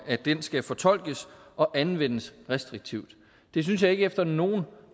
at den skal fortolkes og anvendes restriktivt det synes jeg ikke efter nogen